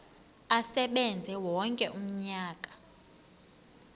asebenze wonke umnyaka